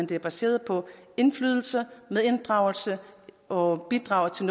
det er baseret på indflydelse medinddragelse og bidrag til